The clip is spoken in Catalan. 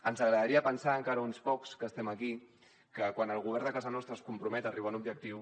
ens agradaria pensar encara a uns pocs que estem aquí que quan el govern de casa nostra es compromet a arribar a un objectiu